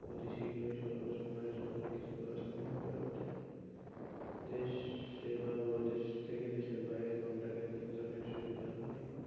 অতি শীঘ্রই স্বল্প সময়ে সকল কিছু করা সম্ভব হয়ে ওঠে দেশ বা দেশের বাইরে contact এর ক্ষেত্রে অনেক সুবিধা হয়.